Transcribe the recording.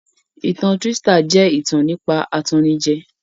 Ìtan trístà jẹ́ ìtàn nípa atannijẹ